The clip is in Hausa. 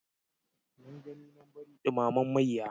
Nan gani nan bari ɗumamen mayya.